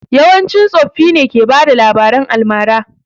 Yawanci tsoffi ne ke bada labaran almara